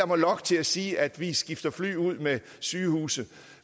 mig lokke til at sige at vi skifter fly ud med sygehuse